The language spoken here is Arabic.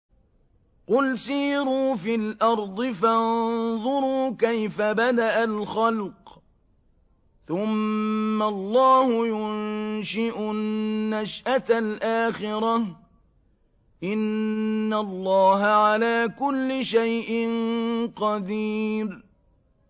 قُلْ سِيرُوا فِي الْأَرْضِ فَانظُرُوا كَيْفَ بَدَأَ الْخَلْقَ ۚ ثُمَّ اللَّهُ يُنشِئُ النَّشْأَةَ الْآخِرَةَ ۚ إِنَّ اللَّهَ عَلَىٰ كُلِّ شَيْءٍ قَدِيرٌ